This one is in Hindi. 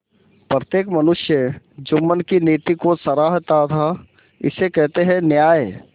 प्रत्येक मनुष्य जुम्मन की नीति को सराहता थाइसे कहते हैं न्याय